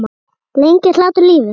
Lengir hlátur lífið?